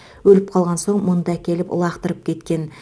өліп қалған соң мұнда әкеліп лақтырып кеткен